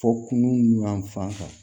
Fɔ kunun yan fan kan